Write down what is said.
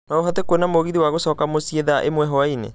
no ũhote kũona mũgithi wa gũcoka mũciĩ thaa ĩmwe hwaĩinĩ